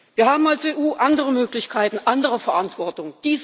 Wir haben als EU andere Möglichkeiten, andere Verantwortung.